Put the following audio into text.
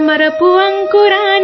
ఓ Veera Narasimha